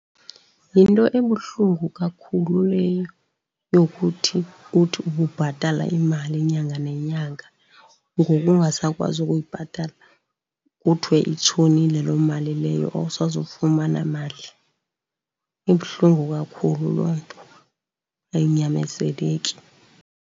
Yinto ebuhlungu kakhulu leyo yokuthi uthi ububhatala imali inyanga nenyanga ngoku ungasakwazi ukuyibhatala, kuthiwe itshonile loo mali leyo awusazofumana mali. Ibuhlungu kakhulu loo nto ayinyamezeleki.